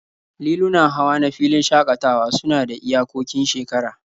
Lilunan hawa na filin shakatawa suna da iyakokin shekara